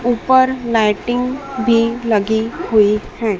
ऊपर लाइटिंग भी लगी हुई है।